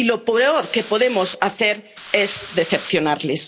Y lo peor que podemos hacer es decepcionarles.